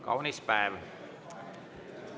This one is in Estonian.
Kaunis päev.